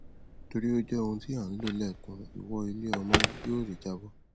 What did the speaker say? torí ó jẹ ohun tí à ń lò lẹẹkan ìwọ iléọmọ yóò ré jábọ